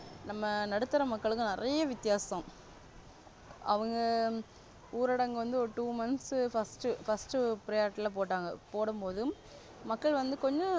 நம்ம நடுத்தர மக்களுக்கு நிறைய வித்தியாசம். அவங்க ஊரடங்கு வந்து ஒரு Two months first first priority போட்டாங்க போடும்போதும் மக்கள் வந்து கொஞ்ச.